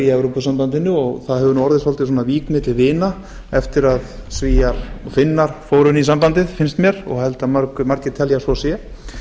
í evrópusamabndinu og það hefur orðið svolítil vík milli vina eftir að svíar og finnar fóru inn í sambandið finnst mér og held að margir telji að svo sé